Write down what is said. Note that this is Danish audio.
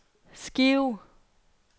skive